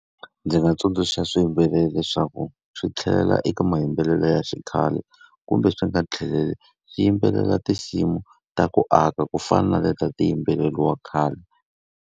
Ndzi nga tsundzuxa swi yimbelela leswaku swi tlhelela eka mayimbelelelo ya xikhale, kumbe swi nga tlheleli, swi yimbelela tinsimu ta ku aka ku fana na leti a ti yimbeleriwa khale.